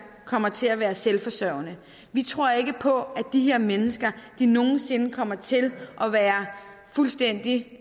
kommer til at være selvforsørgende vi tror ikke på at de her mennesker nogen sinde kommer til at være fuldstændig